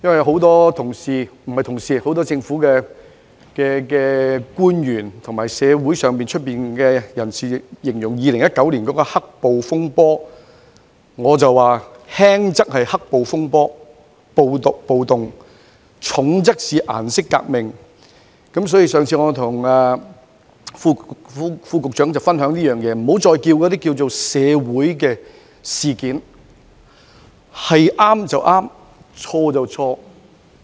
很多政府官員和社會人士均形容2019年的事件為"黑暴風波"，但我認為輕則是"黑暴風波"或暴動，重則是"顏色革命"，所以我曾建議局長不要再稱之為"社會事件"，因為對就是對，錯就是錯。